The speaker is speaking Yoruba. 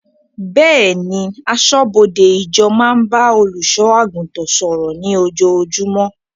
Bẹ́ẹ̀ni, aṣọ́bọdè ìjọ máa ń bá olùṣọ́ àgùntàn sọ̀rọ̀ ní ojoojúmọ́